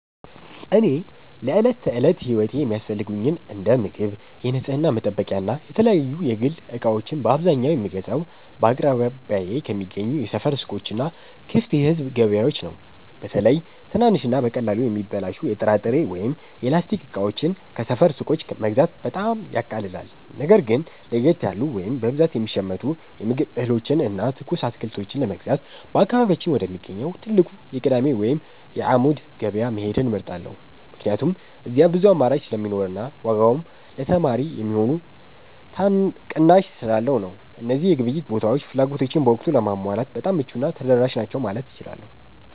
እኔ ለዕለት ተዕለት ሕይወቴ የሚያስፈልጉኝን እንደ ምግብ፣ የንጽሕና መጠበቂያና የተለያዩ የግል ዕቃዎችን በአብዛኛው የምገዛው በአቅራቢያዬ ከሚገኙ የሰፈር ሱቆችና ክፍት የሕዝብ ገበያዎች ነው። በተለይ ትናንሽና በቀላሉ የሚበላሹ የጥራጥሬ ወይም የላስቲክ ዕቃዎችን ከሰፈር ሱቆች መግዛት በጣም ያቃልላል። ነገር ግን ለየት ያሉ ወይም በብዛት የሚሸመቱ የምግብ እህሎችንና ትኩስ አትክልቶችን ለመግዛት በአካባቢያችን ወደሚገኘው ትልቁ የቅዳሜ ወይም የዓሙድ ገበያ መሄድን እመርጣለሁ፤ ምክንያቱም እዚያ ብዙ አማራጭ ስለሚኖርና ዋጋውም ለተማሪ የሚሆን ቅናሽ ስላለው ነው። እነዚህ የግብይት ቦታዎች ፍላጎቶቼን በወቅቱ ለማሟላት በጣም ምቹና ተደራሽ ናቸው ማለት እችላለሁ።